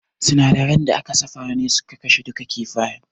Sinadaran da aka zuba ne suka kashe duka kifayen.